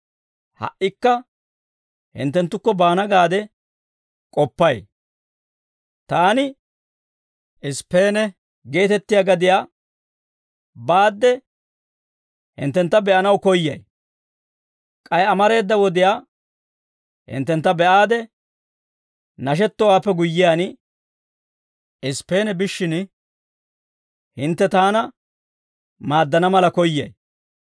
ha"ikka hinttenttukko baana gaade k'oppay; taani Isippeene geetettiyaa gadiyaa baadde hinttentta be'anaw koyyay; k'ay amareeda wodiyaa hinttentta be'aade nashettowaappe guyyiyaan, Isippeene biishshin, hintte taana maaddana mala koyyay.